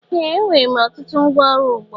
Ee! Enwere m ọtụtụ ngwa ọrụ ugbo.